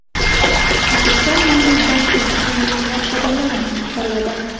O‘zbekiston Milliy banki eng ilg‘or xodimlarini taqdirladi.